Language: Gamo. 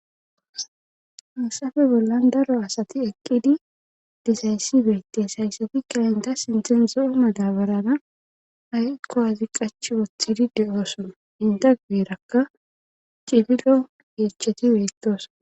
Hayssafe bollan daro asti eqqidi dizayssi beetees haysatikka enta sinthan zo7o madabarara aykko wazi qachi wothidi de7oosona eta guyerakka cililoyeechati beettooso.